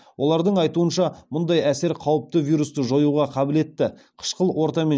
олардың айтуынша мұндай әсер қауіпті вирусты жоюға қабілетті қышқыл ортамен